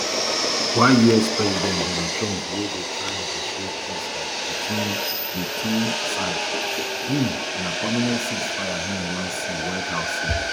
while us president donald trump wey dey try negotiate peace um between di two um sides say im na permanent ceasefire im wan see white house say